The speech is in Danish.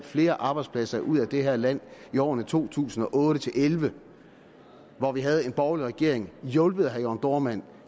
flere arbejdspladser ud af det her land i årene to tusind og otte til elleve hvor vi havde en borgerlig regering hjulpet af herre jørn dohrmann